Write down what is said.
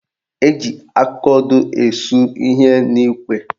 Eji akaodo esu ihe n'ikwe